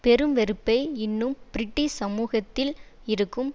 பெரும் வெறுப்பை இன்னும் பிரிட்டிஷ் சமூகத்தில் இருக்கும்